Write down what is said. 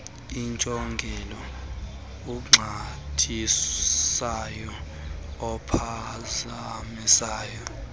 intsongelo oxhathisayo ophazamisa